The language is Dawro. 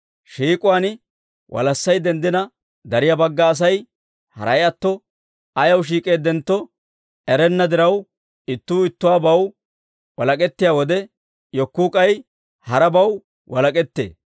Shiik'uwaan walassay denddina, dariyaa bagga Asay haray atto ayaw shiik'eeddentto erenna diraw, ittuu ittibaw walak'ettiyaa wode, yekkuu k'ay harabaw walak'ettee.